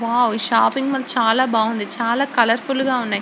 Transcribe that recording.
Wow shopping mall చాల బావుంది చాల కలర్ ఫుల్ గ ఉన్నాయ్.